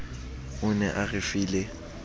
o ne a re file